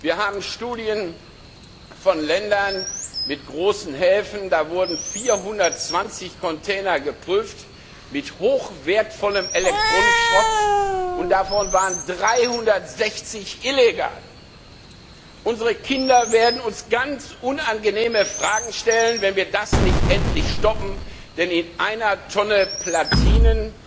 Wir haben Erkenntnisse aus Ländern mit großen Häfen, da wurden 420 Container mit hochwertigem Elektronikschrott geprüft, und davon waren 360 illegal. Unsere Kinder werden uns ganz unangenehme Fragen stellen, wenn wir das nicht endlich stoppen, denn in einer Tonne Platinen